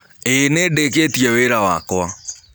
Ĩĩ nĩndĩkĩtĩe wĩra wakwa